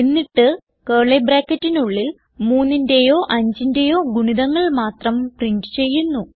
എന്നിട്ട് കർലി ബ്രാക്കറ്റിനുള്ളിൽ 3ന്റേയോ 5ന്റേയോ ഗുണിതങ്ങൾ മാത്രം പ്രിന്റ് ചെയ്യുന്നു